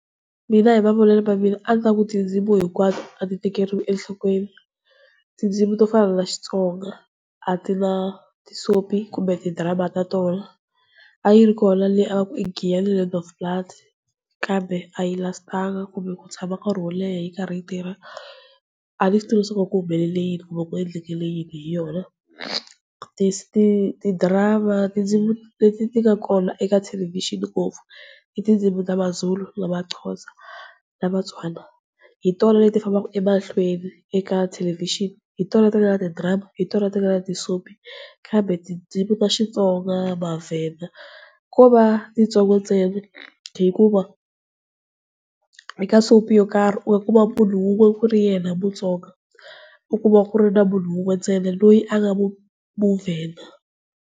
Mina hi mavonele ya mina a ni ta ku tindzimu hinkwato a ti tekeriwi enhlokweni, tindzimi to fana na Xitsonga a ti na ti soap kumbe ti drama ta tona. A yi ri kona leyi a va ku i Giyani Land of Blood, kambe a yi lastanga kumbe ku tshama nkarhi wo leha yi karhi yi tirha. Aniswitivi ku ku humelele yini kumbe ku endleke yini hi yona. Ti-drama tindzimi leti nga kona eka thelevhixini ngopfu i tindzimi ta Mazulu, na maXhosa na maTswana, hi tona leti fambaka emahlweni eka thelevhixini, hi tona ti nga na ti-drama na ti soapie kambe tindzimi ta Xitsonga, maVenda ko va titsongo ntsena, hikuva eka soapie yo karhi u ya kuma munhu un'we ku rinyena Mutsonga u ya kuma munhu un'we ku ri yena muVenda.